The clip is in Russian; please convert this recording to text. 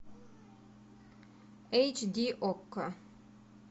эйч ди окко